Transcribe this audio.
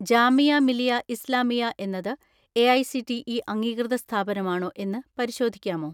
ജാമിയ മിലിയ ഇസ്ലാമിയ എന്നത് എ.ഐ.സി.ടി.ഇ അംഗീകൃത സ്ഥാപനമാണോ എന്ന് പരിശോധിക്കാമോ?